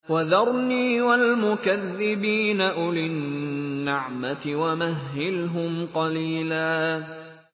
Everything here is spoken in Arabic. وَذَرْنِي وَالْمُكَذِّبِينَ أُولِي النَّعْمَةِ وَمَهِّلْهُمْ قَلِيلًا